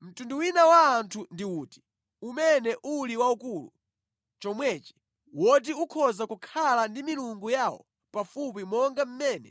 Mtundu wina wa anthu ndi uti umene uli waukulu chomwechi, woti ukhoza kukhala ndi milungu yawo pafupi monga mmene